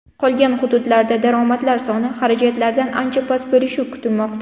Qolgan hududlarda daromadlar soni xarajatlardan ancha past bo‘lishi kutilmoqda.